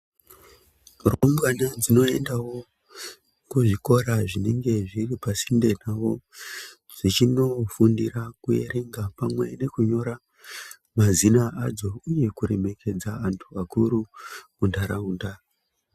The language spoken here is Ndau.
Rumbwana dzinoendavo kuzvikora zvinenge zviri pasinde pavo. Zvichinofundira kuerenga pamwe nekunyora mazina adzo, uye kuremekedza antu akuru muntaraunda.